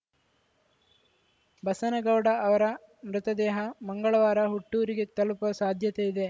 ಬಸನಗೌಡ ಅವರ ಮೃತದೇಹ ಮಂಗಳವಾರ ಹುಟ್ಟೂರಿಗೆ ತಲುಪುವ ಸಾಧ್ಯತೆ ಇದೆ